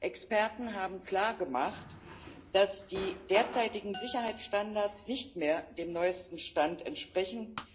Experten haben klar gemacht, dass die derzeitigen Sicherheitsstandards nicht mehr dem neuesten Stand entsprechen.